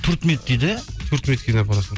төрт минут дейді төрт минутке дейін апарасың